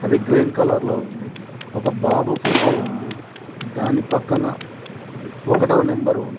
ఇది green colour లో ఉంది ఒక బాబు ఫోటో ఉంది దాని పక్కన ఒకటో నెంబర్ ఉం--